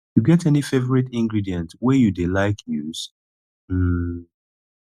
you get any favorite ingredient wey you dey like use um